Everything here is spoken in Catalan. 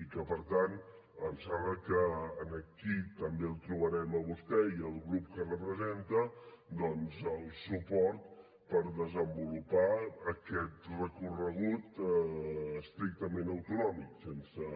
i que per tant em sembla que aquí també trobarem en vostè i el grup que representa doncs el suport per desenvolupar aquest recorregut estrictament autonòmic sense